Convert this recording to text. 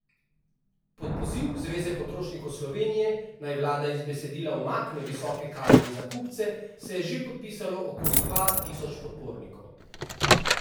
Pod poziv Zveze potrošnikov Slovenije, naj vlada iz besedila umakne visoke kazni za kupce, se je že podpisalo okoli dva tisoč podpornikov.